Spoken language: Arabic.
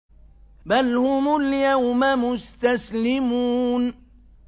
بَلْ هُمُ الْيَوْمَ مُسْتَسْلِمُونَ